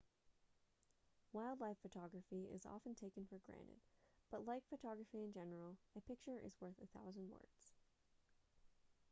wildlife photography is often taken for granted but like photography in general a picture is worth a thousand words